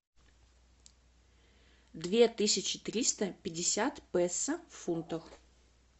две тысячи триста пятьдесят песо в фунтах